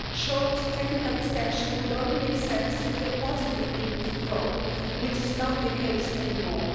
A short technical extension would only make sense with a positive meaningful vote, which is not the case anymore.